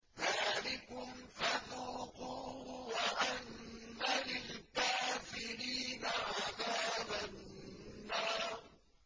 ذَٰلِكُمْ فَذُوقُوهُ وَأَنَّ لِلْكَافِرِينَ عَذَابَ النَّارِ